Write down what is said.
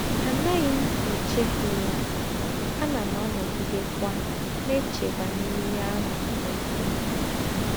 Ànàghí m èchéfù yá, ànà m ànògidékwà nà-èché bànyèrè íhé àhù m̀ mèhièrè.”